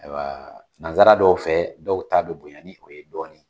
Ayiwa nanzara dɔw fɛ, dɔw t'a bɛ bonya ni o ye dɔɔni